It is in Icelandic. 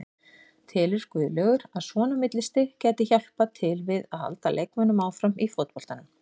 Telur Guðlaugur að svona millistig gæti hjálpað til við að halda leikmönnum áfram í fótboltanum?